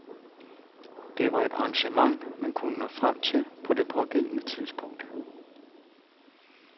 Det var det arrangement, man kunne nå frem til på det pågældende tidspunkt.